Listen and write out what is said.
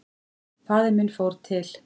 Faðir minn fór til